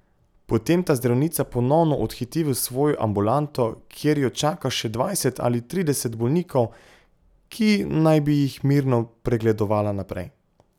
Potem ta zdravnica ponovno odhiti v svojo ambulanto, kjer jo čaka še dvajset ali trideset bolnikov, ki naj bi jih mirno pregledovala naprej.